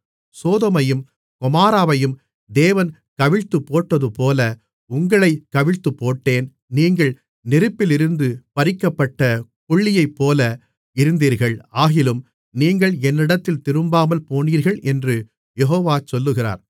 சோதோமையும் கொமோராவையும் தேவன் கவிழ்த்துப்போட்டதுபோல உங்களைக் கவிழ்த்துப்போட்டேன் நீங்கள் நெருப்பிலிருந்து பறிக்கப்பட்ட கொள்ளியைப்போல இருந்தீர்கள் ஆகிலும் நீங்கள் என்னிடத்தில் திரும்பாமல்போனீர்கள் என்று யெகோவா சொல்லுகிறார்